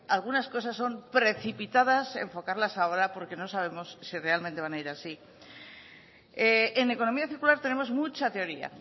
algunas cosas son precipitadas enfocarlas ahora porque no sabemos si realmente van a ir así en economía circular tenemos mucha teoría